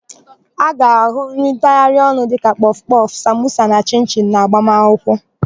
A ga-áhụ̀ nri ntagharịọnụ dịka kpọfụkpọfụ, samosa na chịnchịnụ n'agbamakwụkwọ.